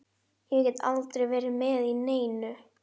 Ég get aldrei verið með í neinu.